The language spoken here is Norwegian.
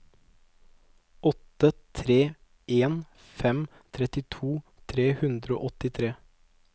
åtte tre en fem trettito tre hundre og åttitre